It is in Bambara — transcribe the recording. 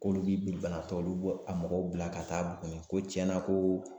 K'olu binibanatɔw, olu bɛ a mɔgɔw bila ka taa Buguni ko tiɲɛna ko